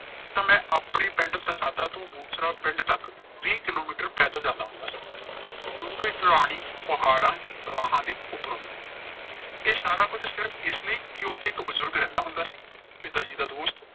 ਤਾਂ ਮੈਂ ਆਪਣੇ ਪਿੰਡ ਤੋਂ ਪਿੰਡ ਤੱਕ ਵੀ ਕਿਲੋਮੀਟਰ ਪੈਦਲ ਜਾਂਦਾ ਹੁੰਦਾ ਸਾਂ। ਡੂੰਘੇ ਢਲਾਣੀ, ਪਹਾੜਾ, ਰਾਹਾਂ ਦੀ ਇਹ ਸਾਰਾ ਕੁਝ ਸਿਰਫ਼ ਇਸ ਲਈ ਕਿ ਉਥੇ ਇੱਕ ਬਜ਼ੁਰਗ ਰਹਿੰਦਾ ਹੁੰਦਾ ਸੀ, ਪਿਤਾ ਜੀ ਦਾ ਦੋਸਤ